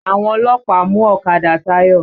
Àwọn ọlọ́pàá mú ọ̀kadà Táyọ̀.